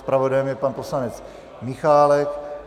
Zpravodajem je pan poslanec Michálek.